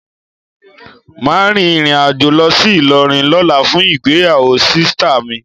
Ma rìnrìn àjò lọ sí Ilorin lóla fún ìgbéyàwó sita mi